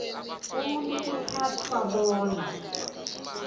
umuntu kuthathwa bona